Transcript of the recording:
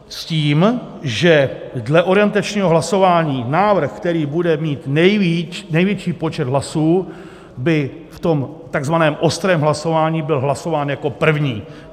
S tím, že dle orientačního hlasování návrh, který bude mít největší počet hlasů, by v tom takzvaném ostrém hlasování byl hlasován jako první.